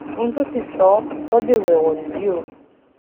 ohun t òṣì sọ sọ ò dèrò ẹwọn nìyí o